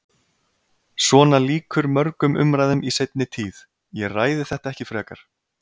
Svona lýkur mörgum umræðum í seinni tíð: Ég ræði þetta ekki frekar.